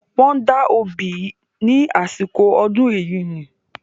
Wọ́n da obì ní àsìkò ọdún Ẹ̀yíní.